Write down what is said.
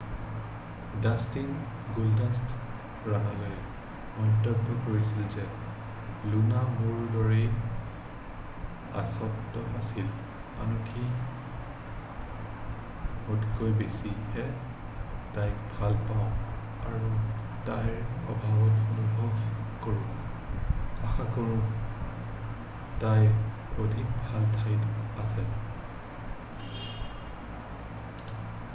"Dustin "গুল্ডাষ্ট" ৰাণেলে মন্তব্য কৰিছিল যে "লুনা মোৰ দৰেই আচহুৱ আছিল... আনকি মোতকৈ বেছিহে... তাইক ভাল পাওঁ আৰু তাইৰ অভাৱ অনুভৱ কৰোঁ...আশাকৰোঁ তাই অধিক ভাল ঠাইত আছে "।""